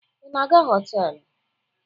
Ị na-aga họtelụ?